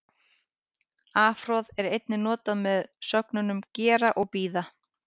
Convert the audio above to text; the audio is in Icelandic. Afhroð er einnig notað með sögnunum gera og bíða.